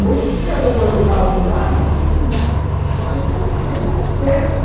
Hoje, se estiver roubando o carro do lado, eu vou me fazer de cego.